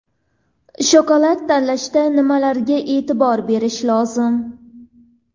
Shokolad tanlashda nimalarga e’tibor berish lozim?.